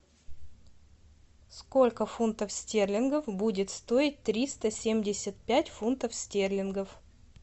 сколько фунтов стерлингов будет стоить триста семьдесят пять фунтов стерлингов